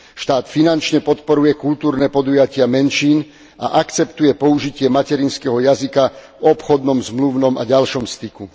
Štát finančne podporuje kultúrne podujatia menšín a akceptuje použitie materinského jazyka v obchodnom, zmluvnom a ďalšom styku.